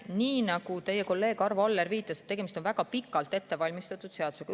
Nii nagu teie kolleeg Arvo Aller viitas, tegemist on väga pikalt ettevalmistatud seadusega.